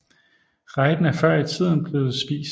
Riden er før i tiden blevet spist